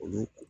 Olu